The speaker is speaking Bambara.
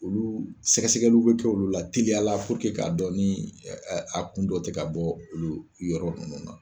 Olu sɛgɛsɛgɛliw be kɛ olu la teliya la k'a dɔn ni a kun dɔ te ka bɔ olu yɔrɔ nunnu na.